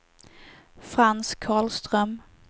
Frans Karlström